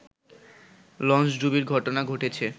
লঞ্চডুবির ঘটনা ঘটেছে